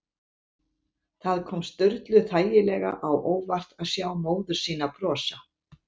Það kom Sturlu þægilega á óvart að sjá móður sína brosa.